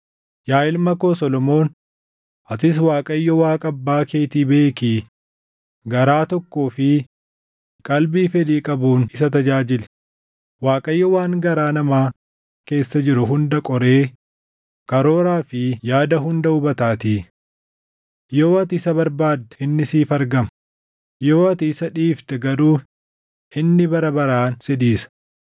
“Yaa ilma koo Solomoon atis Waaqayyo Waaqa abbaa keetii beekii garaa tokkoo fi qalbii fedhii qabuun isa tajaajili; Waaqayyo waan garaa namaa keessa jiru hunda qoree karooraa fi yaada hunda hubataatii. Yoo ati isa barbaadde inni siif argama; yoo ati isa dhiifte garuu inni bara baraan si dhiisa.